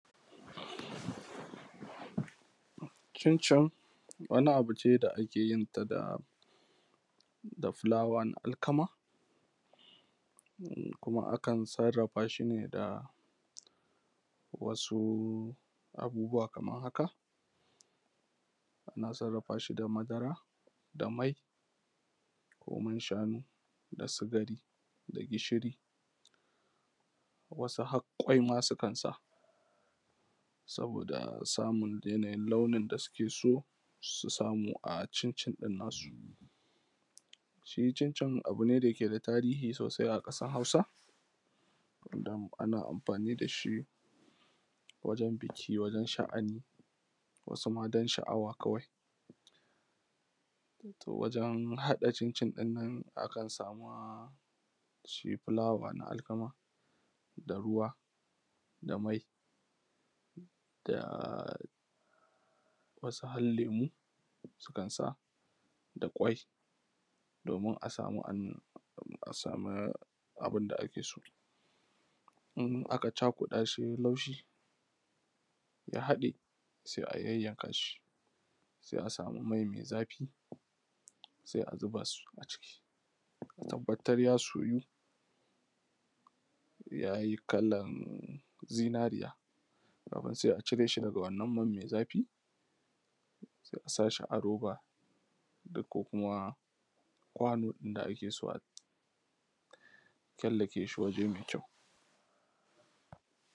Cincin wani abu ce da ake yinta da fulawa, da fulawan alkama. Kuma akan sarrrafa shi ne da wasu abubuwa kamar haka: Ana sarrafa shi da madara, da mai ko man-shanu, da sikari da gishiri, wasu har ƙwai ma sukan sa, saboda musamman yanayin launin da suke so su samu a cincin nasu. Shi cincin abu ne da yake da tarihi sosai a ƙasar Hausa. Don ana amfani da shi wajen biki, wajen sha’ani, wasu ma don sha’awa kawai. Wato wajen haɗa cincin ɗin, akan sa ma shi fulawan alkama, da ruwa da mai da wasu har lemu sukan sa da ƙwai, domin a samu abin da ake so. In aka cakuɗa su ya yi laushi ya haɗe, sai a yayyanka shi, sai a samu mai, mai zafi sai a zuba su a ciki, a tabbatar ya soyu ya yi kalar zinariya, sai a cire shi daga wannan man mai zafi, a sa shi a roba ko kuma kwano inda ake, a killace shi wuri mai kyau.